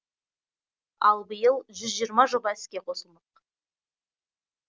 ал биыл жүз жиырма жоба іске қосылмақ